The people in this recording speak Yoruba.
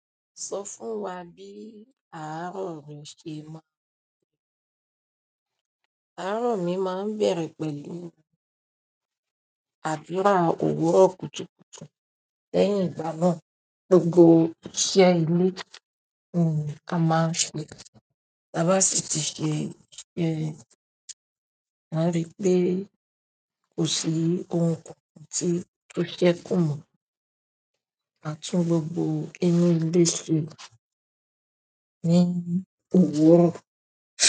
Sọ fún wa bí àárọ̀ rẹ ṣe máa ń bẹ̀rẹ̀. Àárọ̀ mi máa ń bẹ̀rẹ̀ pẹ̀lú àdúrà òwúrọ̀ kùtùkùtù lẹ́yìn ìgbana gbogbo iṣẹ́ ilé mi la máa n ṣe. Taba sí ti ṣe e, màá rí pé kò sí ohun kan tí tó ṣẹ́ kù mo. Aa tun gbogbo inú ile seni.